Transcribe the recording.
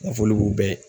Nafoli b'u bɛɛ ye